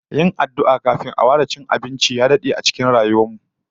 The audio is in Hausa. Yin addu'a kafin a fara cin abinci ya dade a cikin rayuwar mu